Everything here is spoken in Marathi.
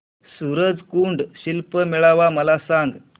सूरज कुंड शिल्प मेळावा मला सांग